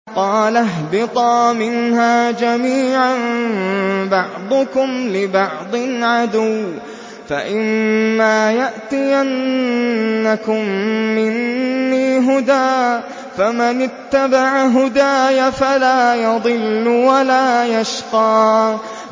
قَالَ اهْبِطَا مِنْهَا جَمِيعًا ۖ بَعْضُكُمْ لِبَعْضٍ عَدُوٌّ ۖ فَإِمَّا يَأْتِيَنَّكُم مِّنِّي هُدًى فَمَنِ اتَّبَعَ هُدَايَ فَلَا يَضِلُّ وَلَا يَشْقَىٰ